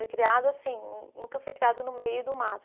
Foi criado assim, nunca foi criado no meio do mato.